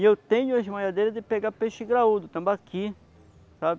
E eu tenho as malhadeiras de pegar peixe graúdo, tambaqui, sabe?